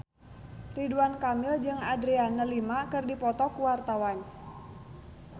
Ridwan Kamil jeung Adriana Lima keur dipoto ku wartawan